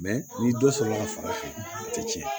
ni dɔ sɔrɔla ka fara a kan a tɛ tiɲɛ